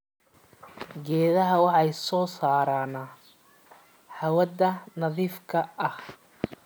Geedaha waxay soo saaraan hawada nadiifka ah.